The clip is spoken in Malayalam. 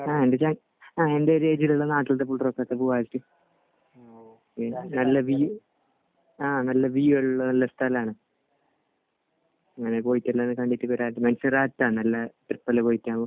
ആഹ്. എന്താണെന്ന് വെച്ചാൽ ആഹ്. എന്റെ ഒരു നല്ല വ്യൂ ആഹ് നല്ല വ്യൂ ഉള്ള നല്ല സ്ഥലമാണ്. പോയിട്ട് കണ്ടിട്ട് വരാം. അല്ലെ ട്രിപ്പ് എല്ലാം പോയിട്ട് .